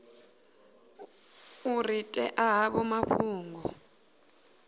u ri ṅea havho mafhungo